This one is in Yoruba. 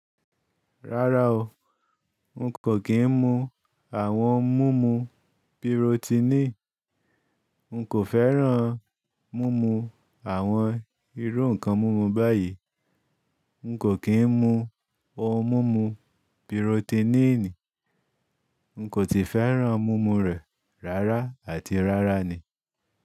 Rárá o, n kò kí n mu àwọn mumu birotiníì. N kò fẹ́ràn mumu àwọn irú nǹkan mumu báyìí. N kò kí n mu ohun mumu birotiníìní. N kò ti fẹ́ràn mumu rẹ̀ rárá àti rárá ni.